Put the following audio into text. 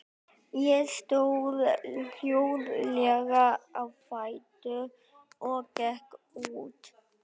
Ég stóð hljóðlega á fætur og gekk út.